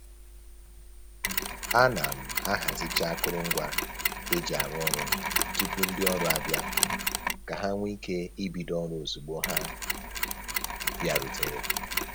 A na m ahazicha akụrụngwa e ji arụ ọrụ tupu ndị ọrụ abịa ka ha nwee ike ibido ọrụ ozugbo ha bịarutere